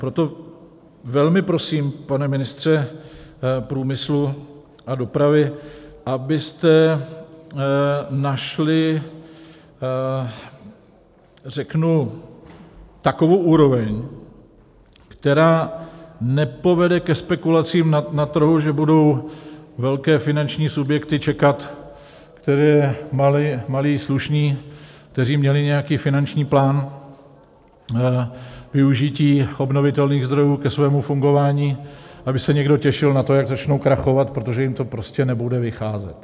Proto velmi prosím, pane ministře průmyslu a dopravy, abyste našli řeknu takovou úroveň, která nepovede ke spekulacím na trhu, že budou velké finanční subjekty čekat, kteří malí slušní, kteří měli nějaký finanční plán využití obnovitelných zdrojů ke svému fungování, aby se někdo těšil na to, jak začnou krachovat, protože jim to prostě nebude vycházet.